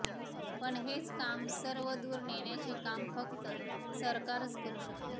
पण हेच काम सर्वदूर नेण्याचे काम फक्त सरकारच करू शकते